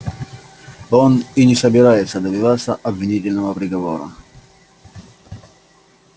он и не собирается добиваться обвинительного приговора